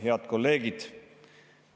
Head kolleegid!